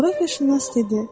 Coğrafiyaşünas dedi.